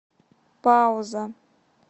пауза